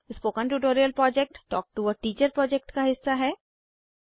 spoken tutorial project talk to a teacher project का हिस्सा है